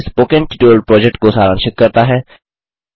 यह spoken tutorial project को सारांशित करता है